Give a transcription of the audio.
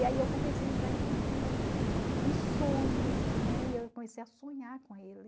E aí eu comecei a entrar em conflito, em sonhos, né, e eu comecei a sonhar com ele.